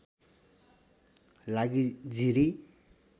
लागि जिरी